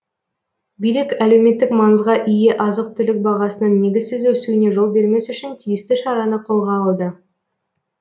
билік әлеуметтік маңызға ие азық түлік бағасының негізсіз өсуіне жол бермес үшін тиісті шараны қолға алды